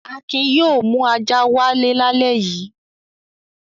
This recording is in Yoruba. Akin yóò mú ajá wálé lálẹ́ yìí.